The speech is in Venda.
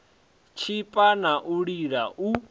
tshipa na u lila u